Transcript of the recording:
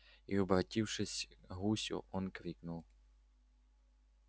и обратившись к гусю он крикнул